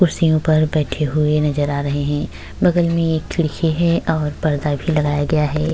कुर्सियों पर बैठे हुए नजर आ रहे हें। बगल में एक खिड़की है और पर्दा भी लगाया गया है।